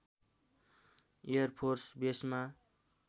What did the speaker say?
air force बेसमा